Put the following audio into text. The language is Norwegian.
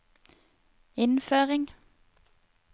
innføring